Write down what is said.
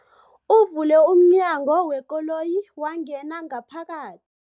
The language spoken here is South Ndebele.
Uvule umnyango wekoloyi wangena ngaphakathi.